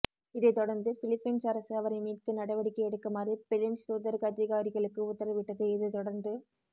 இதை தொடர்ந்து பிலிப்பைன்ஸ் அரசு அவரை மீட்க நடவடிக்கை எடுக்குமாறு பில்லைன்ஸ் தூதரக அதிகாரிகளுக்கு உத்தரவிட்டது இதை தொடர்ந்து